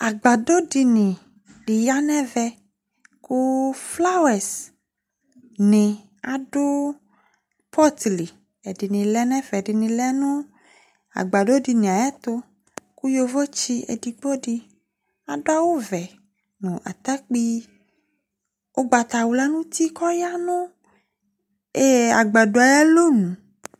Agbadɔ dini di ya nu ɛvɛ ku flawɛz ni adu pɔt li ɛdini lɛ nu ɛfɛ ɛdini lɛ nu agbadɔ dini ayɛtu ku yovo tsi edigbo di adu awu vɛ nu atakpi ugbatawla nu uti ku ɔya nu agbadɔ yɛ ayu alɔnu